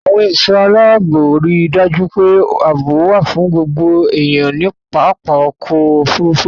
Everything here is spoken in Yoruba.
Àwọn ẹ̀ṣọ́ aláàbò ri dájú pé àbọ̀ wà fún gbogbo èèyàn ní pápá ọkọ-òfurufú.